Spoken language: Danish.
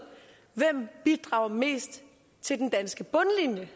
hvem bidrager mest til den danske bundlinje